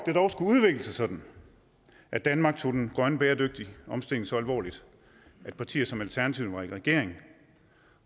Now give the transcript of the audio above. det dog skulle udvikle sig sådan at danmark tog den grønne bæredygtige omstilling så alvorligt at partier som alternativet var i regering